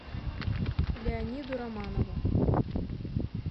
леониду романову